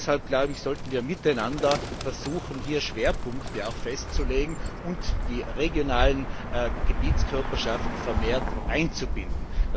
Deshalb sollten wir miteinander versuchen, Schwerpunkte festzulegen und die regionalen Gebietskörperschaften vermehrt einzubinden.